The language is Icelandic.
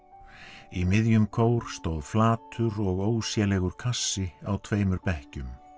í miðjum kór stóð flatur og kassi á tveimur bekkjum